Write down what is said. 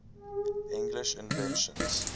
english inventions